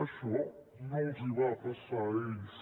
això no els va passar a ells